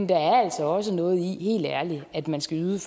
der er altså også noget i at man skal yde